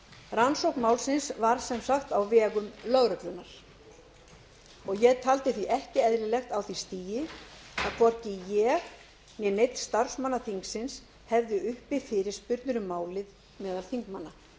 rannsókn málsins var sem sagt á vegum lögreglunnar og ég taldi því ekki eðlilegt á því stigi að hvorki ég né neinn starfsmanna þingsins hefðu uppi fyrirspurnir um málið meðal þingmanna